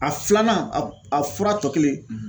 A filanan a a fura tɔ kelen